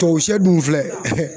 Tubabu sɛ dun filɛ